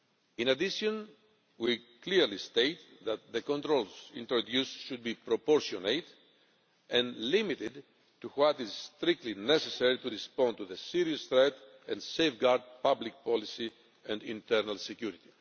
In addition, we clearly state that the controls introduced should be proportionate and limited to what is strictly necessary to respond to the serious threat and safeguard public policy and internal security.